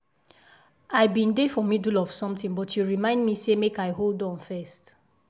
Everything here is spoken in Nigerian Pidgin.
i been dey for middle of something but you remind me say make i hold on first.